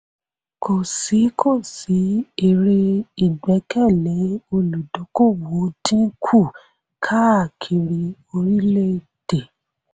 kò sí kò sí èrè ìgbẹ́kẹ̀lé olùdókòwò dín kù káàkiri orílẹ̀-èdè.